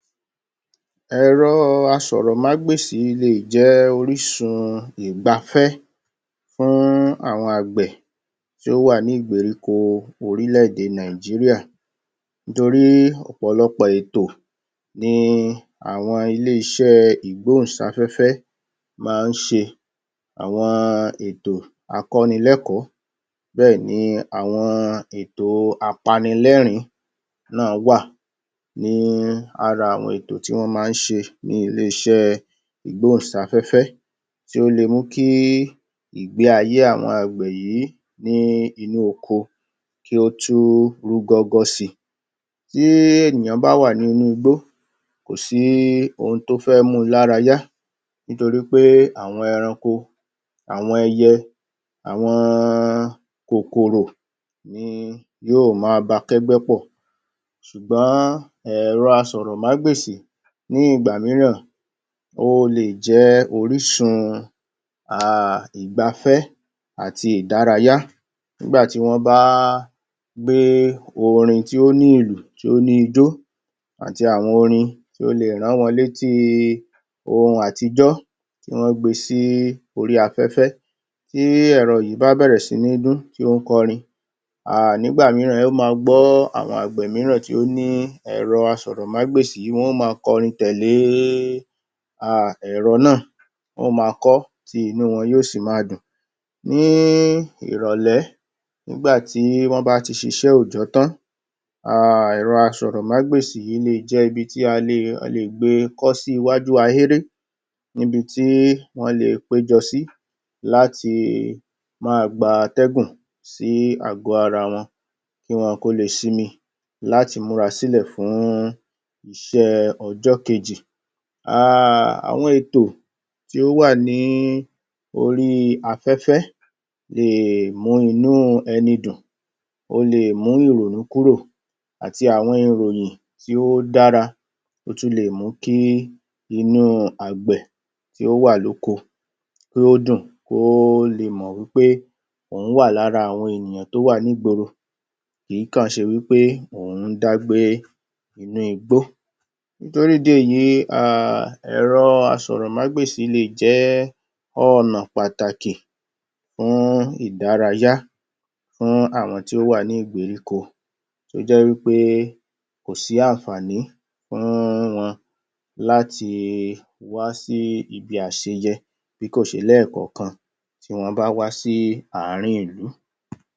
Ẹ̀rọ asọ̀rọ̀mágbèsì lè jẹ́ orísun ìgbáfẹ́ fún àwọn àgbẹ̀ tí ó wà ní ìgberíko orílẹ̀-èdè Nàìjíríà nítorí ọ̀pọ̀lọpọ̀ ètọ ni àwọn ilé-iṣẹ́ ìgbóhùnsáfẹ́fẹ́ máa ń se. Àwọn ètò akọ́nilẹ́kọ̀ọ́, bẹ́ẹ̀ ni àwọn ètò apanilẹ́ẹ̀rín náà wà ní ara àwọn ètò tí wọ́n máa ń ṣe ní ilé-iṣẹ́ ìgbóhùnsáfẹ́fẹ́ tí ó le mú kí ìgbé ayé àwọn àgbẹ̀ yìí ní inú oko kí ó tún rúgọ́gọ́ si. Tí ènìyàn bá wà ní inú igbó, kò sí ohun tó fẹ́ mu lára yá nítorí pé àwọn ẹranko, àwọn ẹyẹ, àwọn kòkòrò ni yóò máa ba kẹ́gbẹ́ pọ̀. Sùgbọn ẹ̀rọ asọ̀rọ̀mágbèsì ní ìgbà mìíràn, ó lè jẹ orísun [aa] ìgbáfẹ́ àti ìdárayá nígbà tí wọ́n bá gbé orin tí ó ní ìlù tí ó ní ijó àti àwọn orin tí o lè rán wọn létí ohun àtijọ́ tí wọ́n gbesí orí afẹ́fẹ́. Tí ẹ̀rọ yìí bá bẹ̀rẹ̀ sí ní dún tí ó ń kọrin, err ẹ ó ma gbọ́ àwọn àgbẹ̀ míràn tí ó ní ẹ̀rọ asọ̀rọ̀mágbèsì wọn ó ma kọrin tẹ̀lé err ẹ̀rọ náà, wọn ó na kọ́, tí inú wọn yóò sì ma dùn. Ní ìrọ̀lẹ́, nígbà tí wọ́n bá ti ṣiṣé òòjọ́ tán, err ẹ̀rọ asọ̀rọ̀mágbèsì yìí lè jẹ́ ibi tí a lè gbe kọ́ sí iwájú ahéré níbi tí wọ́n lè péjọ sí láti máa gba atẹ́gùn sí àgọ́-ara wọn kí wọn kó lè sinmi láti múra sílẹ̀ fún iṣẹ́ ọjọ́ kejì. err Àwọn ètò tí ó wà ní ori afẹ́fẹ́ lè mú inú ẹni dùn, o lè mú ìrònú kúrò àti àwọn ìròyìn tí ó dára. Ó tún lè mú kí inú àgbẹ̀ tí ó wà lóko kí ó dùn, kí ó lè mọ̀ wí pé òun wà lára àwọn ènìyàn tó wà nígboro kì í kọ̀ ṣe wí pé òun dá gbé inú igbó Nítorí ìdí èyí, err ẹ̀rọ asọ̀rọ̀mágbèsì lè jẹ́ ọnà pàtàkì fún ìdárayá fún àwọn tí ó wà ní ìgberíko tó jẹ́ wí pé kòsí àǹfààní fún wọn láti wá sí ibi àṣeyẹ bí kò ṣe lẹ́ẹ̀kọ̀ọ̀kan tí wọ́n bá wá sí àárín ìlú.